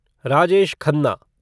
Rajesh Khanna